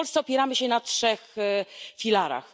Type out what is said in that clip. W Polsce opieramy się na trzech filarach.